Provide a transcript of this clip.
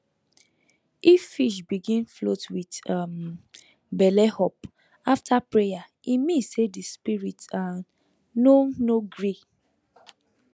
if fish begin float with um belle up after prayer e mean say the spirit um no no gree